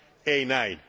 Ei näin.